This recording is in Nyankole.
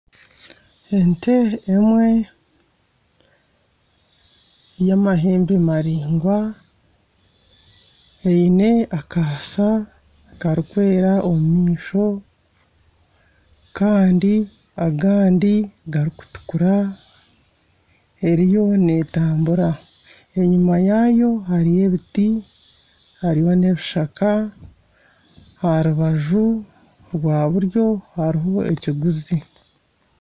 Ente emwe y'amahembe maraingwa eine akaasa karikwera omu maisho kandi agandi garikutukura eriyo netambuura enyima yaayo hariyo ebiti hariyo n'ebishaka aha rubaju rwa buryo hariho ekiguzi.